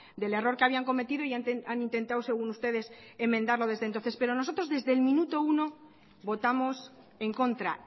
del error que habían cometido y han intentado según ustedes enmendarlo desde entonces pero nosotros desde el minuto uno votamos en contra